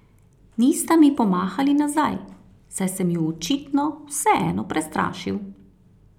Nista mi pomahali nazaj, saj sem ju očitno vseeno prestrašil.